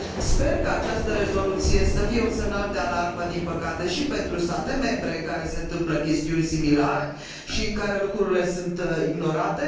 Sper ca această rezoluție să fie un semnal de alarmă, din păcate, și pentru state membre în care se întâmplă chestiuni similare și în care lucrurile sunt ignorate